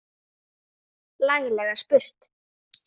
Laglega spurt!